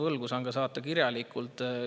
Saan selle saata kirjalikult.